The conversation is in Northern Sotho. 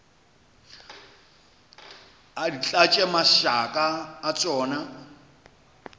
di tlatše mašaka a tšona